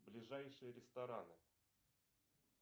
ближайшие рестораны